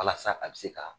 Walasa a bɛ se ka